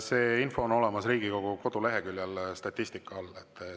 See info on olemas Riigikogu koduleheküljel statistika all.